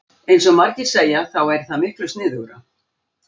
Eins og margir segja þá væri það miklu sniðugra.